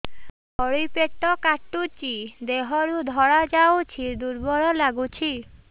ତଳି ପେଟ କାଟୁଚି ଦେହରୁ ଧଳା ଯାଉଛି ଦୁର୍ବଳ ଲାଗୁଛି